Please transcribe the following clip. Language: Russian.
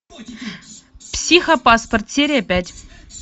психопаспорт серия пять